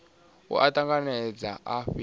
a u tanganedza a fhethu